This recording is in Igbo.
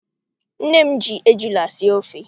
Nne m ji ejula sie ofe.